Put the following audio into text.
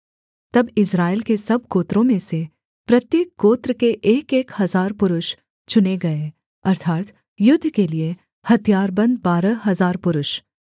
तब इस्राएल के सब गोत्रों में से प्रत्येक गोत्र के एकएक हजार पुरुष चुने गये अर्थात् युद्ध के लिये हथियारबन्द बारह हजार पुरुष